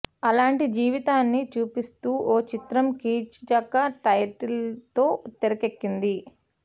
అలాంటి జీవితాన్ని చూపిస్తూ ఓ చిత్రం కీచక టైటిల్ తో తెరకెక్కింది